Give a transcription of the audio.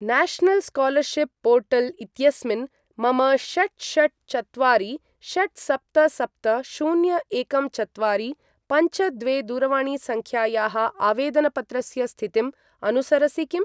National scholarship portal इत्यस्मिन् मम षट् षट् चत्वारि षट् सप्त सप्त शून्य एकं चत्वारि पञ्च द्वे दूरवाणीसङ्ख्यायाः आवेदनपत्रस्य स्थितिं अनुसरसि किम्?